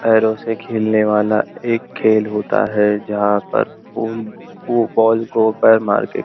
पैरों से खेलने वाला एक खेल होता है जहां पर पूल वो बॉल को पैर मार के--